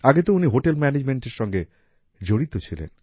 আগে তো উনি হোটেল ম্যানেজমেন্ট এর সঙ্গে জড়িত ছিলেন